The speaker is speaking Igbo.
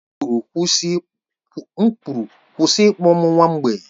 M kwuru, kwụsị ịkpọ m nwa mgbei!